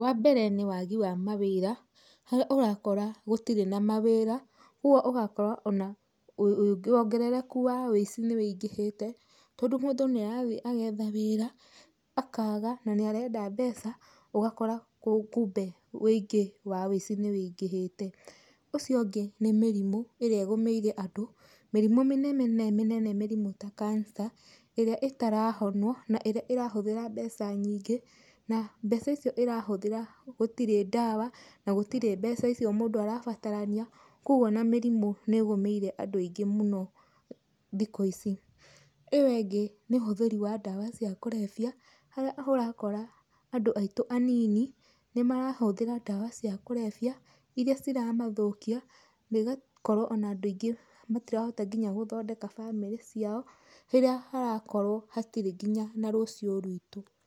Wambere nĩ wagi wa mawĩra, harĩa ũrakora gũtirĩ na mawĩra, kwogwo ũgakora ona wongerereku wa wũici nĩwĩingĩhĩte, tondũ mũndũ nĩarathi agetha wĩra, akaga na nĩ arenda mbeca, ũgakora kumbe wĩingĩ wa wĩici nĩ wĩingĩhĩte. Ũcio ũngĩ nĩ mĩrimũ ĩrĩa ĩgũmĩire andũ, mĩrimũ mĩnemene, mĩnene ta cancer ĩrĩa ĩtarahonwo na ĩrĩa ĩrahũthĩra mbeca nyingĩ, na mbeca icio ĩrahũthĩra gũtirĩ ndawa na gũtirĩ mbeca icio mũndũ arabatarania, kwogwo ona mĩrimũ nĩ ĩgũmĩire andũ aingĩ mũno thikũ ici. Ĩyo ĩngĩ nĩ ũhũthĩrĩ wa ndawa cia kũrebia, harĩa ũrakora andũ aitũ anini nĩmarahũthĩra ndawa cia kũrebia, iria ciramathũkia na igakorwo ona andũ aingĩ matirahota nginya gũthondeka bamĩrĩ ciao, hĩrĩa harakorwo hatirĩ nginya na rũciũ rwitũ.